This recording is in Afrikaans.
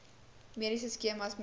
mediese skemas mnr